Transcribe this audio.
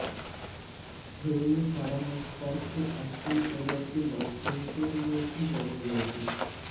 film Farhan Akhtar के acting career की launching के लिए भी जानी गई थी